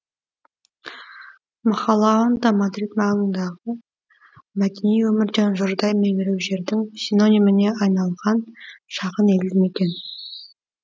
махалаонда мадрид маңындағы мәдени өмірден жұрдай меңіреу жердің синониміне айналған шағын елді мекен